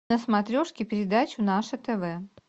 на смотрешке передачу наше тв